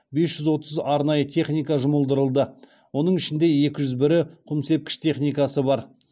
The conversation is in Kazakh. бес жүз отыз арнайы техника жұмылдырылды оның ішінде екі жүз бірі құмсепкіш техникасы бар